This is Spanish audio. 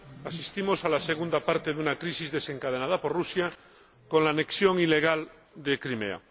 Asistimos a la segunda parte de una crisis desencadenada por Rusia, con la anexión ilegal de Crimea.